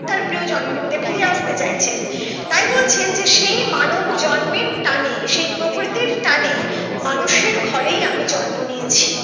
তার প্রিয় জন্মভূমিতে ফিরে আসতে চাইছেন তাই বলছেন যে সেই মানব জন্মের টানে সেই প্রকৃতির টানে মানুষের ঘরেই আমি জন্ম নিয়েছি